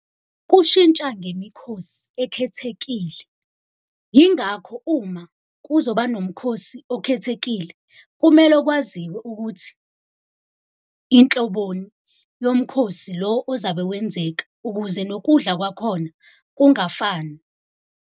Kushintsha ngemikhosi ekhethekile. Yingakho uma kuzoba nomkhosi okhethekile, kumele kwaziwe ukuthi inhloboni yomkhosi lo ozabe wenzeka ukuze nokudla kwakhona kungafani.